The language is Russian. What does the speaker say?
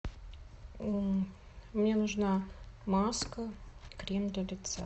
мне нужна маска крем для лица